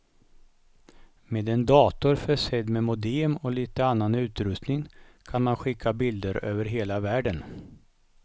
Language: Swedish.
Med en dator försedd med modem och lite annan utrustning kan man skicka bilder över hela världen.